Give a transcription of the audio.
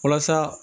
Walasa